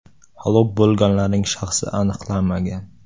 Halok bo‘lganlarning shaxsi aniqlanmagan.